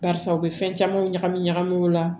Barisa u bɛ fɛn camanw ɲagami ɲagami o la